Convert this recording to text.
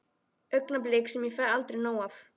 Augnablik sem ég fæ aldrei nóg af.